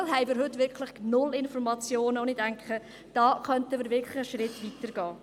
Da haben wir heute wirklich null Informationen, und ich denke, da könnten wir wirklich einen Schritt weiter gehen.